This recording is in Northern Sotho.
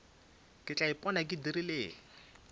ke tla ipona ke dirileng